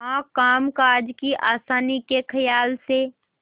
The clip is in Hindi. हाँ कामकाज की आसानी के खयाल से